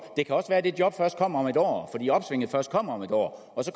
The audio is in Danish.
det kan også være at det job først kommer om et år fordi opsvinget først kommer om et år og så